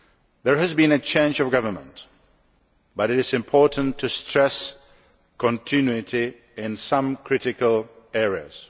There has been a change of government, but it is important to stress continuity in some critical areas.